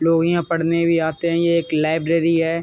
लोग यहाँ पढने भी आते हैं। ये एक लाइब्रेरी है।